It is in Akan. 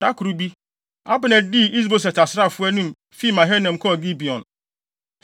Da koro bi, Abner dii Is-Boset asraafo anim, fi Mahanaim kɔɔ Gibeon.